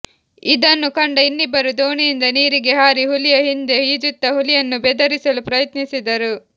ಇದನ್ನು ಕಂಡ ಇನ್ನಿಬ್ಬರು ದೋಣಿಯಿಂದ ನೀರಿಗೆ ಹಾರಿ ಹುಲಿಯ ಹಿಂದೆ ಈಜುತ್ತಾ ಹುಲಿಯನ್ನು ಬೆದರಿಸಲು ಪ್ರಯತ್ನಿಸಿದರು